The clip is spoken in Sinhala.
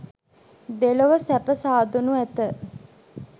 දෙලොව සැප සාදනු ඇත.